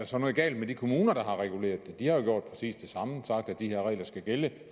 så noget galt med de kommuner der har reguleret det de har gjort præcis det samme nemlig sagt at de her regler skal gælde